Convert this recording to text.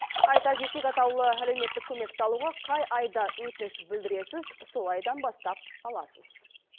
айта кетейік атаулы әлеуметтік көмекті алуға қай айда өтініш білдіресіз сол айдан бастап аласыз